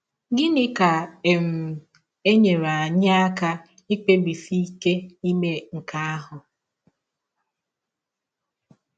Gịnị ga - um enyere anyị aka ikpebisi ike ime nke ahụ?